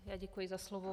Já děkuji za slovo.